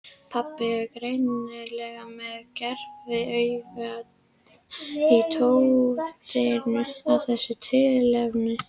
Pabbi er greinilega með gerviaugað í tóftinni af þessu tilefni.